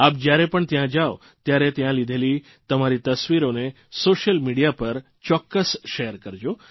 આપ જયારે પણ ત્યાં જાઓ ત્યારે ત્યાં લીધેલી તમારી તસ્વીરોને સોશ્યલ મીડીયા પર ચોક્કસ શેર કરજો